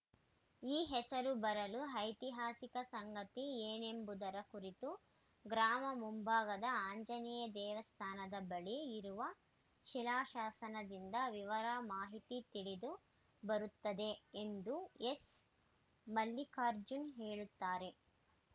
ಆ ಹೆಸರು ಬರಲು ಐತಿಹಾಸಿಕ ಸಂಗತಿ ಏನೆಂಬುದರ ಕುರಿತು ಗ್ರಾಮ ಮುಂಭಾಗದ ಆಂಜನೇಯ ದೇವಸ್ಥಾನದ ಬಳಿ ಇರುವ ಶಿಲಾಶಾಸನದಿಂದ ವಿವರ ಮಾಹಿತಿ ತಿಳಿದು ಬರುತ್ತದೆ ಎಂದು ಎಸ್‌ಮಲ್ಲಿಕಾರ್ಜುನ್‌ ಹೇಳುತ್ತಾರೆ